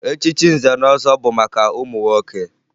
Echichi nze na ọzọ bụ maka ụmụ nwoke